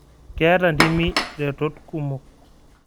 Keeta ntimi retot kumok